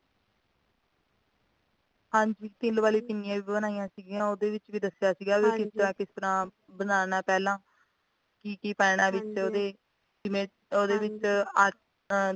ਹਾਂਜੀ ਤਿਲ ਵਾਲੀਆਂ ਪਿੰਨੀਆਂ ਵੀ ਬਣਾਈਆਂ ਸੀਗਯੀਆਂ ਉਹਦੇ ਵਿੱਚ ਵੀ ਦਸਿਆ ਸੀਗਾ ਵੀ ਕਿਸ ਤਰਾਂ ਤਰਾਂ ਬਨਾਣਾ ਪਹਿਲਾਂ ਕੀ ਕੀ ਪੈਣਾ ਵਿੱਚ ਉਹਦੇ ਜਿਵੇਂ ਉਹਦੇ ਵਿੱਚ ਆ ਹ